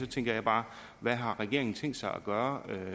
tænker jeg bare hvad har regeringen tænkt sig at gøre